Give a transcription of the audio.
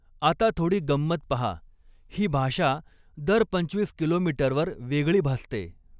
आता थोडी गंमत पहा ही भाषा दर पंचवीस किलोमीटरवर वेगळी भासते.